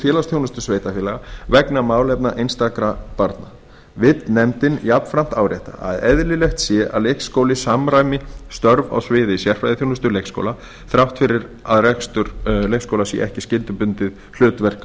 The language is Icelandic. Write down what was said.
félagsþjónustu sveitarfélaga vegna málefna einstakra barna vill nefndin jafnframt árétta að eðlilegt sé að leikskóli samræmi störf á sviði sérfræðiþjónustu leikskóla þrátt fyrir að rekstur leikskóla sé ekki skyldubundið hlutverk